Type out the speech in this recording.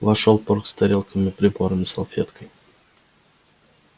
вошёл порк с тарелками прибором и салфеткой